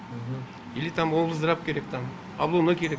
или там облздрав керек там облоно керек